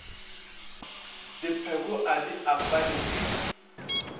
dipheko a di apare di